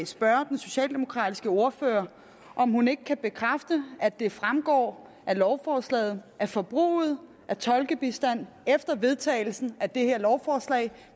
spørge den socialdemokratiske ordfører om hun ikke kan bekræfte at det fremgår af lovforslaget at forbruget af tolkebistand efter vedtagelsen af det her lovforslag